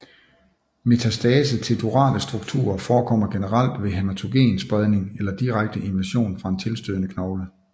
Metastase til durale strukturer forekommer generelt ved hæmatogen spredning eller direkte invasion fra en tilstødende knogle